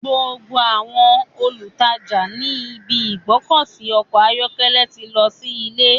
Gbogbo àwọn olùtajà ní ibi ìgbọ́kọ̀sí ọkọ̀ ayọ́kẹ́lẹ́ ti lọ sí ilé.